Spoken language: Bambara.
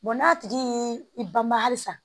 n'a tigi ye i banba halisa